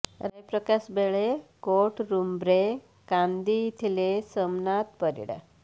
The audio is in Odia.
ରାୟ ପ୍ରକାଶ ବେଳେ କୋର୍ଟ ରୁମ୍ରେ କାନ୍ଦି ଥିଲେ ସୋମନାଥ ପରିଡା